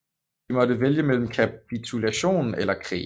De måtte vælge mellem kapitulation eller krig